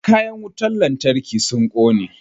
Kayan wutan lantarkin sun kone.